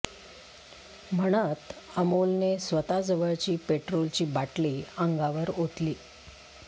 म्हणत अमोलने स्वतः जवळची पेट्रोलची बाटली अंगावर ओतली